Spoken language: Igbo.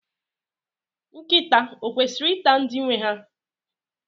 Nkịta o kwesịrị ịta ndị nwe ha.